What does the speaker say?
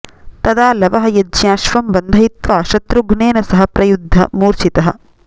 तदा लवः यज्ञाश्वं बन्धयित्वा शत्रुघ्नेन सह प्रयुध्य मूर्छितः